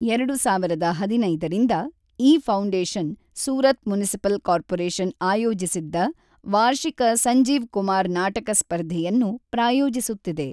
ಎರಡು ಸಾವಿರದ ಐದಿನೈದರಿಂದ, ಈ ಫೌಂಡೇಶನ್ ಸೂರತ್ ಮುನಿಸಿಪಲ್ ಕಾರ್ಪೊರೇಶನ್ ಆಯೋಜಿಸಿದ್ದ ವಾರ್ಷಿಕ ಸಂಜೀವ್ ಕುಮಾರ್ ನಾಟಕ ಸ್ಪರ್ಧೆಯನ್ನು ಪ್ರಾಯೋಜಿಸುತ್ತಿದೆ.